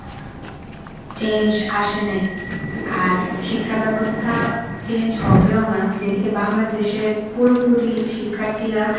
change আসেনি. আর শিক্ষা ব্যবস্থা change হবেও না, যেদিকে বাংলাদেশের পুরোপুরি শিক্ষার্থীরা